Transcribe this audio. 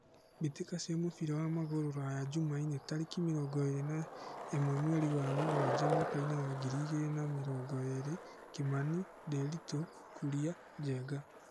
Mbĩtĩka cia mũbira wa magũrũ Ruraya Jumaine tarĩki mĩrongo ĩrĩ na ĩmwe mweri wa mũgwanja mwakainĩ wa ngiri igĩrĩ na mĩrongo ĩrĩ: Kimani, Ndiritu, Kuria, Njenga.